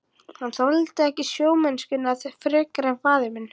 Hann þoldi ekki sjómennskuna frekar en faðir minn.